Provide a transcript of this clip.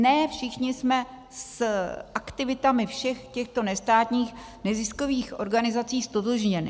Ne všichni jsme s aktivitami všech těchto nestátních neziskových organizací ztotožněni.